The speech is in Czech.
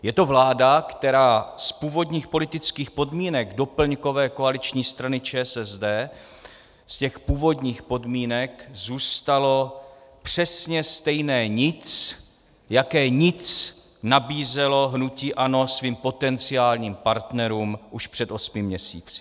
Je to vláda, které z původních politických podmínek doplňkové koaliční strany ČSSD, z těch původních podmínek zůstalo přesně stejné nic, jaké nic nabízelo hnutí ANO svým potenciálním partnerům už před osmi měsíci.